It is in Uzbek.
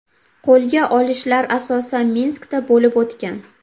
Qo‘lga olishlar asosan Minskda bo‘lib o‘tgan.